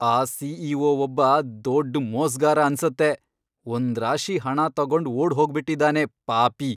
ಆ ಸಿ.ಇ.ಒ. ಒಬ್ಬ ದೊಡ್ಡ್ ಮೋಸ್ಗಾರ ಅನ್ಸತ್ತೆ, ಒಂದ್ರಾಶಿ ಹಣ ತಗೊಂಡ್ ಓಡ್ಹೋಗ್ಬಿಟಿದಾನೆ ಪಾಪಿ!